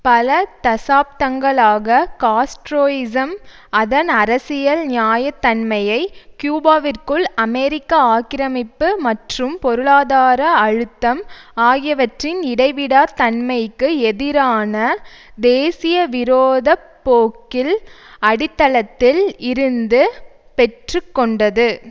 பல தசாப்தங்களாக காஸ்ட்ரோயிசம் அதன் அரசியல் நியாயத்தன்மையை கியூபாவிற்குள் அமெரிக்க ஆக்கிரமிப்பு மற்றும் பொருளாதார அழுத்தம் ஆகியவற்றின் இடைவிடாத் தன்மைக்கு எதிரான தேசிய விரோத போக்கில் அடித்தளத்தில் இருந்து பெற்று கொண்டது